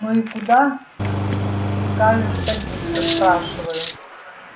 ну и куда прикажешь садиться спрашиваю